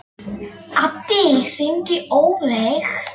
Addý, hringdu í Ófeig.